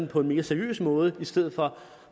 på en mere seriøs måde i stedet for